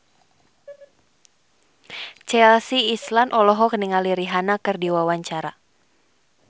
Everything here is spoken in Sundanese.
Chelsea Islan olohok ningali Rihanna keur diwawancara